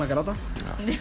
að gráta